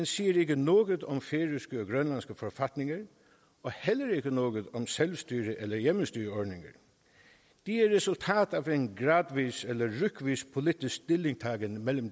siger ikke noget om færøske eller grønlandske forfatninger og heller ikke noget om selvstyre eller hjemmestyreordninger de er resultat af en gradvis eller rykvis politisk stillingtagen